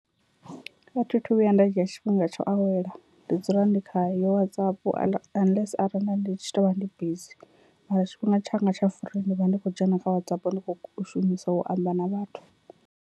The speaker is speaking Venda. A thi thu vhuya nda dzhia tshifhinga tsho awela ndi dzula ndi kha yo WhatsApp unless arali nda ndi tshi to vha ndi bizi, mara tshifhinga tshanga tsha free ndi vha ndi khou dzhena kha WhatsApp ndi kho shumisa u amba na vhathu.